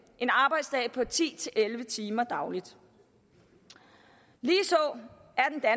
en arbejdsdag på ti til elleve timer dagligt lige